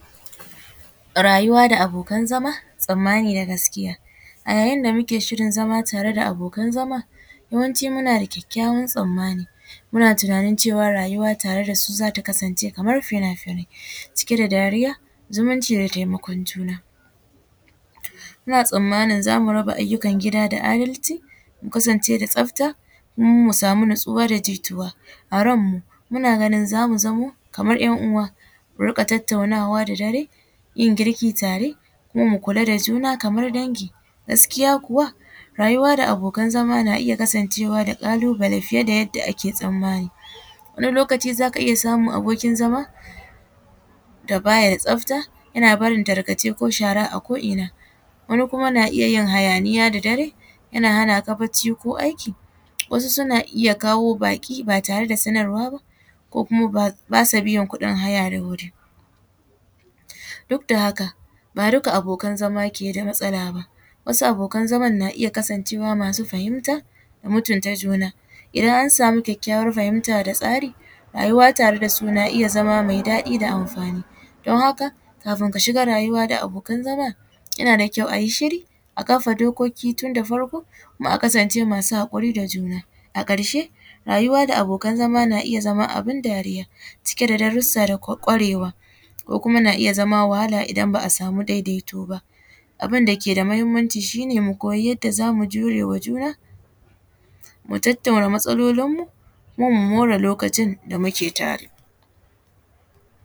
Rayuwa da abokan zama tsamani na gaskiya, a yayin da muke shirin zama tare da abokan zama yawanci muna da kyakyawan tsamani muna tunanin cewa rayuwa tare da su zata kasance kamar fina-finai cike da dariya zumunci da taimakon juna, muna tsamanin zamu raba ayyukan gida da adalci mu kasance da tsafta kuma mu samu natsuwa da jituwa a ranmu muna ga zamu zamo kamar ‘yan uwa, mu rika tattaunawa da dare, yin girki tare kuma mu kula da juna kamar dangi gaskiya kuwa rayuwa da abokan zama na iya kasancewa da kalubale fiye da yadda ake tsanmani, wani lokaci zaka iya samun abokin zama da baya tsafta yana barin tarkace ko shara a ko’ina wani kuma na iya yin hayaniya da dare yana hanaka bacci ko aiki, wasu suna iya kawo baki ba tare da sanarwa ba ko kuma basu biyan kudin haya da wuri duk da haka ba duka abokan zama ke da matsala ba wasu abokan zaman na iya kasance masu fahimta da mutunta juna, idan an samu kyakyawan fahimta da tsari rayuwa tare da sun a iya zama mai daɗi da amfani don haka kafin ka shiga rayuwa da abokan zama yana da kyau ayi shiri a kafa dokoki tun da farko, a kasance masu hakuri da juna, a karshe rayuwa da abokan zama na iya zama abun dariya cike da darrusa da gwarewa ko kuma na iya zama wahala idan ba’a samu daidaito ba, abun dake da muhimmanci shi ne mu koyi yadda zamu jure ma juna, mu tattauna matsalolin mu kuma mu more lokacin da muke tare.